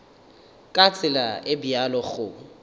ka tsela e bjalo go